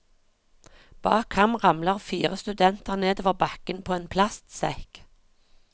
Bak ham ramler fire studenter nedover bakken på en plastsekk.